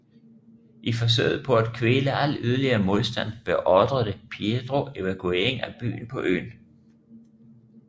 I forsøget på at kvæle al yderligere modstand beordrede Pietro evakuering af byen på øen